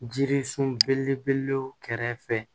Jirisun belebelew kɛrɛfɛ